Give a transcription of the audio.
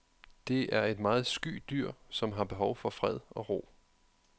Det er et meget sky dyr, som har behov for fred og ro.